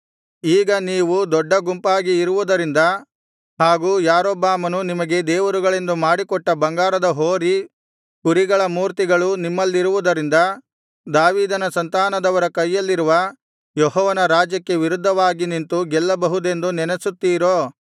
ಈಗ ನೀವು ದೊಡ್ಡ ಗುಂಪಾಗಿ ಇರುವುದರಿಂದ ಹಾಗು ಯಾರೊಬ್ಬಾಮನು ನಿಮಗೆ ದೇವರುಗಳೆಂದು ಮಾಡಿಕೊಟ್ಟ ಬಂಗಾರದ ಹೋರಿ ಕುರಿಗಳ ಮೂರ್ತಿಗಳು ನಿಮ್ಮಲ್ಲಿರುವುದರಿಂದ ದಾವೀದನ ಸಂತಾನದವರ ಕೈಯಲ್ಲಿರುವ ಯೆಹೋವನ ರಾಜ್ಯಕ್ಕೆ ವಿರುದ್ಧವಾಗಿ ನಿಂತು ಗೆಲ್ಲಬಹುದೆಂದು ನೆನಸುತ್ತೀರೋ